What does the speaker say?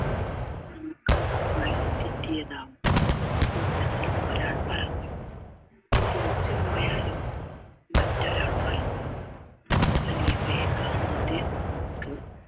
നമ്മുക്ക് വഴി തെറ്റിയതാവാം കൂട്ടത്തിൽ ഒരാൾ പറഞ്ഞു തിരിച്ചു പോയാലോ മറ്റൊരാൾ പറഞ്ഞു ഫിലീപ്പിയെ കാണാതെ അവർക്ക്